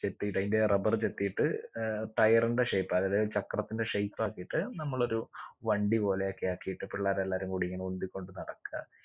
ചെത്തീട്ട് അയിന്റെ rubber ചെത്തീട്ട് air tire ന്റെ shape അതായത് ചക്രത്തിന്റെ shape ആക്കിയിട്ട് നമ്മളൊരു വണ്ടി പോലെയൊക്കെ ആക്കിയിട്ട് പിള്ളേരെല്ലാരും കൂടി ഇങ്ങനെ ഉന്തിക്കൊണ്ട് നടക്ക